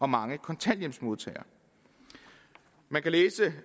mange kontanthjælpsmodtagere man kan læse